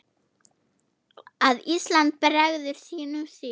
að Ísland bregður sínum sið